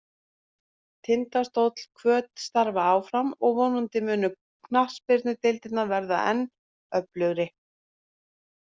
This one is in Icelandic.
Tindastóll og Hvöt starfa áfram og vonandi munu knattspyrnudeildirnar verða enn öflugri.